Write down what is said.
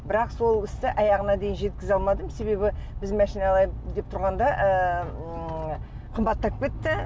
бірақ сол істі аяғына дейін жеткізе алмадым себебі біз машина алайын деп тұрғанда ыыы ммм қымбаттап кетті